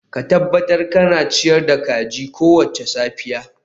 Ka tabbatar kana ciyar da kajin kowace safiya